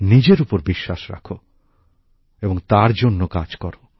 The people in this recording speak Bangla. নিজের ওপর বিশ্বাস রাখ এবং তার জন্য কাজ করো